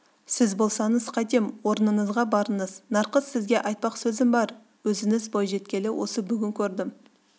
сіз болсаңыз қайтем орныңызға барыңыз нарқыз сізге айтпақ сөзім бар өзіңіз бойжеткелі осы бүгін көрдім